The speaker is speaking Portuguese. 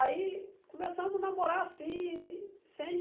Aí começamos a namorar assim, sem...